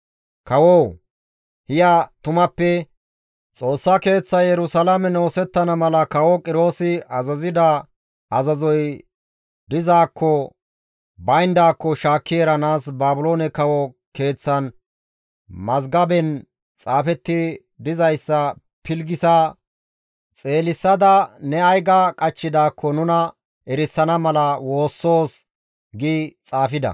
«Kawoo! Hiya tumappe ha Xoossa Keeththay Yerusalaamen oosettana mala kawo Qiroosi azazida azazoy dizaakko bayndaako shaakki eranaas Baabiloonen kawo keeththan mazgaben xaafeti dizayssa pilggisa xeelisada ne ay ga qachchidaakko nuna erisana mala woossoos» gi xaafida.